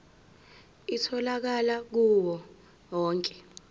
itholakala kuwo onke